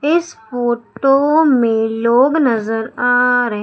इस फोटो में लोग नजर आ र--